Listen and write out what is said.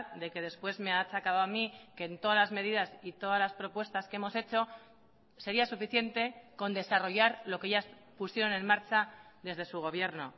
de que después me ha achacado a mí que en todas las medidas y todas las propuestas que hemos hecho sería suficiente con desarrollar lo que ya pusieron en marcha desde su gobierno